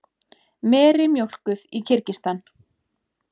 Meri mjólkuð í Kirgistan.